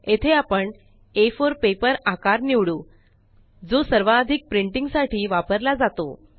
येथे आपण आ4 पेपर आकार निवडू जो सर्वाधिक प्रिंटिंग साठी वापरला जातो